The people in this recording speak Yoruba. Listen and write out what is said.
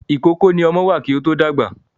Ìkókó ni ọmọ wà kí ó to dàgbà.